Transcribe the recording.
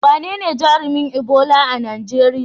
Wanene jarumin Ebola a Najeriya?